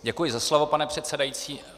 Děkuji za slovo, pane předsedající.